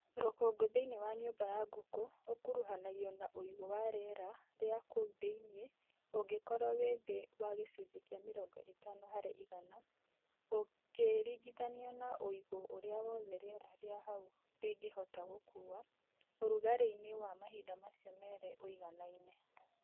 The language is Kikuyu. Rũkũngũ thĩinĩ wa nyũmba ya ngũkũ ũkuruhanagio na ũigũ wa rĩera rĩa kũu thĩinĩ ũngĩkorwo wĩ thĩ wa gĩcũnjĩ kĩa mĩrongo ĩtano harĩ igana ũkĩringithanio na ũigũ ũrĩa wothe rĩera rĩa hau rĩngĩhota gũkuua ũrugarĩ-ini wa mahinda macio merĩ ũiganaine.